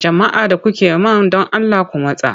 Jama'a da kuke man don Allah ku matsa!